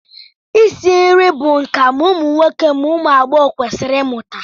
Isi nri bụ nka ma ụmụ nwoke ma ụmụ agbọghọ kwesịrị ịmụta